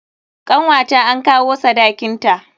Kanwata an kawo sadakin ta.